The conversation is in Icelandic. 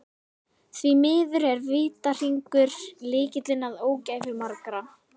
Því miður er vítahringur lykillinn að ógæfu margra.